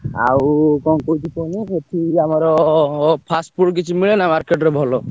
ଆଉ କଣ କହୁଛି କୁହନି ସେଠି ଯୋଉ ଆମର ଅ ଅ fast food କିଛି ମିଳେ ନା market ରେ ଭଲ?